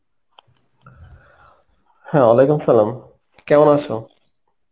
হ্যাঁ Arbi কেমন আছে৷?